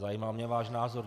Zajímal mě váš názor.